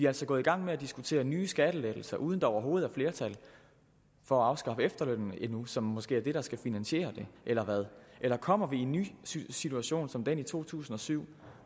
altså gået i gang med at diskutere nye skattelettelser uden at der overhovedet er flertal for at afskaffe efterlønnen endnu som måske er det der skal finansiere det eller hvad eller kommer vi i en ny situation som den i to tusind og syv